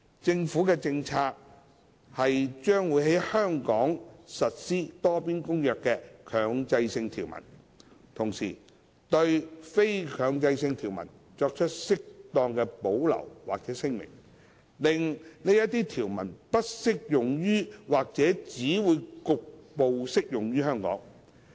政府的政策是將會在香港實施《多邊公約》的強制性條文，同時對非強制性條文作出適當的保留或聲明，令這些條文不適用於或只會局部適用於香港。